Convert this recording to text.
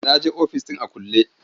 Na je ofis ɗin a kulle.